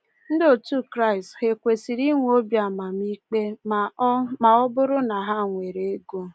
Ndị otu Kraịst ha e kwesịrị inwe obi amamikpe ma ọ ma ọ bụrụ na ha nwere ego?